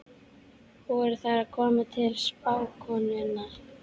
Voru þær að koma til spákonunnar?